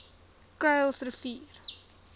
kuilsrivier